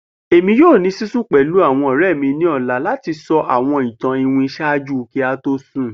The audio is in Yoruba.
Emi yoo ni sisun pẹlu awọn ọrẹ mi ati sọ awọn itan iwin ṣaaju ki a to sun